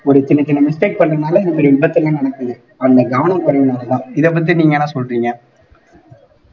ஒரு சின்ன சின்ன mistake பண்றதுனால இந்த மாறி விபத்து எல்லாம் நடக்குது அந்த கவனக்குறைவுனாலதான் இதைப்பத்தி நீங்க என்ன சொல்றீங்க